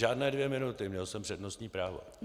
Žádné dvě minuty, měl jsem přednostní právo.